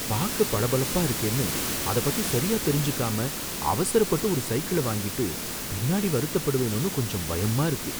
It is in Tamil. பாக்க பளபளப்பா இருக்கேன்னு அத பத்தி சரியாதெரிஞ்சுக்காம அவசரப்பட்டு ஒரு சைக்கிள வாங்கிட்டு பின்னாடி வருத்தப்படுவேனோன்னு கொஞ்சம் பயமா இருக்கு.